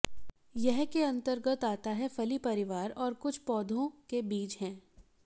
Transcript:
यह के अंतर्गत आता है फली परिवार और कुछ पौधों के बीज है